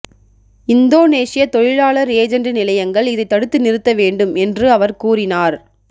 இந்தோனேசிய தொழிலாளர் ஏஜெண்டு நிலையங்கள் இதை தடுத்து நிறுத்த வேண்டும் என்று அவர் கூறினார்